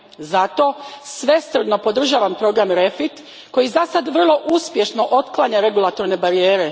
Zato, svesrdno podržavam program REFIT koji zasad vrlo uspješno otklanja regulatorne barijere.